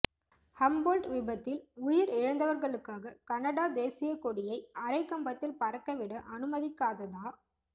Humboldt விபத்தில் உயிரிழந்தவர்களுக்காக Canada தேசியக் கொடியை அரைக்கம்பத்தில் பறக்க விட அனுமதிக்காததா